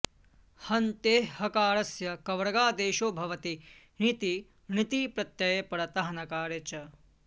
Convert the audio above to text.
हन्तेः हकारस्य कवर्गादेशो भवति ञिति णिति प्रत्यये परतः नकारे च